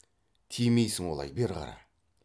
тимейсің олай бері қара